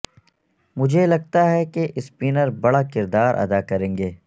مجھے لگتا ہے کہ اسپنر بڑا کردار ادا کریں گے